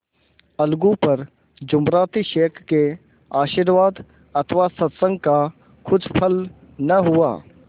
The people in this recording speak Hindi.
अलगू पर जुमराती शेख के आशीर्वाद अथवा सत्संग का कुछ फल न हुआ